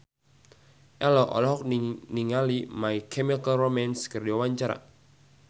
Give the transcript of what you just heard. Ello olohok ningali My Chemical Romance keur diwawancara